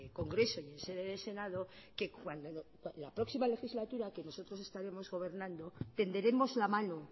congreso en sede de senado que cuando la próxima legislatura que nosotros estaremos gobernando tenderemos la mano